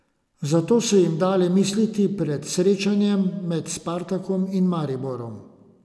Zato so jim dale misliti pred srečanjem med Spartakom in Mariborom.